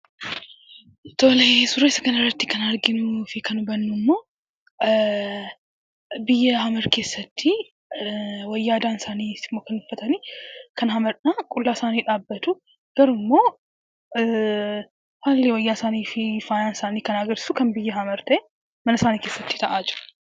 Tole! Suura isa kanaratti kan arginuu fi kan hubannu immoo biyya Hamer keessatti wayyaa aadaan isaaniitis kan uffatani. Kan Hameridha. qullaa isaanii dhaabbatu. Garuu immoo haalli wayyaan isaanii fi faayaan isaanii kan agarsiisu kan biyya Hamer kan ta'e, mana isaanii keessatti ta'aa jira.